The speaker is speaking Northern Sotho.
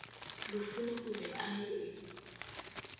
lufhuno o be a e